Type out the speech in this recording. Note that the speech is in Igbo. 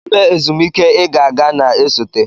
Kedu ebe ezumike ị ga-aga na-esote?